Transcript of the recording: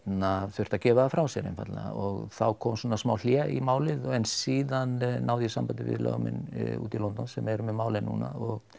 þurfti að gefa það frá sér einfaldlega og þá kom svona smá hlé í málið en síðan náði ég sambandi við lögmenn úti í London sem eru með málið núna og